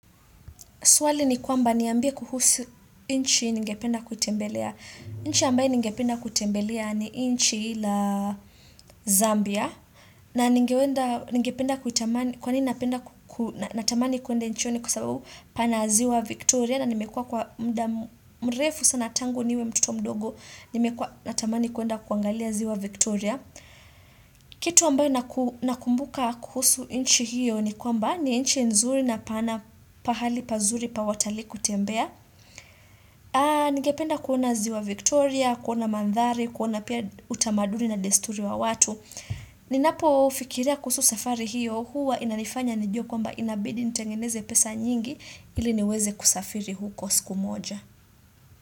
Swali ni kwamba niambie kuhusu nchi ningependa kuitembelea. Nchi ambaye ningependa kutembelea ni nchi la Zambia. Na ningependa kutamani, kwa nini napenda, natamani kuende nchi hiyo ni kwa sababu pana ziwa Victoria. Na nimekuwa kwa mrefu sana tangu niwe mtoto mdogo, nimekua natamani kuenda kuangalia ziwa Victoria. Kitu ambayo nakumbuka kuhusu nchi hiyo ni kwamba ni nchi nzuri na pana pahali pazuri pa watalii kutembea Nigependa kuona ziwa Victoria, kuona mandhari, kuona pia utamaduni na desturi wa watu Ninapo fikiria kuhusu safari hiyo huwa inanifanya nijue kwamba inabidi nitengeneze pesa nyingi ili niweze kusafiri huko siku moja.